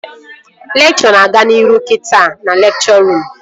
Lekchọ na-aga n'ihu kita na lekchọ ruum